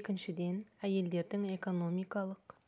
екіншіден әйелдердің экономикалық